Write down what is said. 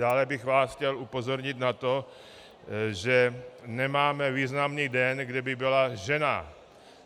Dále bych vás chtěl upozornit na to, že nemáme významný den, kde by byla žena.